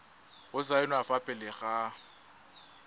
go saenwa fa pele ga